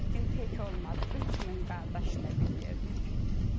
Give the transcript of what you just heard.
Ziyəddin tək olmadı, 3000 qardaşı ilə bir yerdə idi.